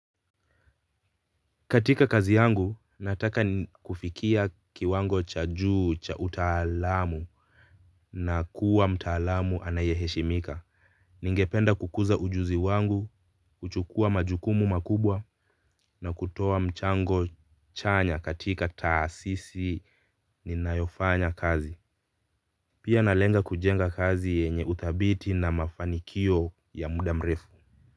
Katika kazi yangu, nataka kufikia kiwango cha juu cha utaalamu na kuwa mtaalamu anayeheshimika. Ningependa kukuza ujuzi wangu, kuchukua majukumu makubwa na kutoa mchango chanya katika taasisi ninayofanya kazi. Pia nalenga kujenga kazi yenye uthabiti na mafanikio ya muda mrefu.